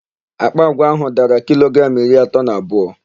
Àkpà àgwà áhụ̀ dara kilogramụ iri atọ na abụọ.